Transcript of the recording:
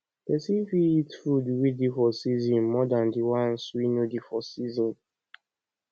person fit eat food wey dey for season more than di ones wey no dey for for season